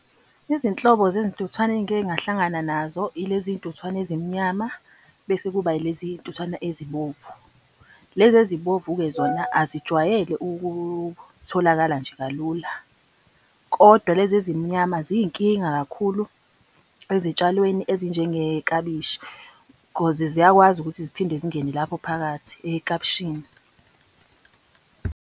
Izinhlobo zezintuthwane engike ngahlangana nazo ilezi ntuthwane ezimnyama, bese kuba ilezi ntuthwane ezibomvu. Lezi ezibovu-ke zona azijwayele ukutholakala nje kalula. Kodwa lezi ezimnyama ziyinkinga kakhulu ezitshalweni ezinjengeklabishi. Cause ziyakwazi ukuthi ziphinde zingene lapho phakathi eklabishini.